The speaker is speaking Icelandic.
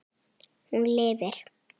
Hún lifir.